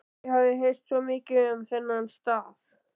Ég hafði heyrt svo mikið um þennan stað.